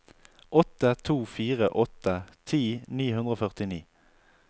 åtte to fire åtte ti ni hundre og førtini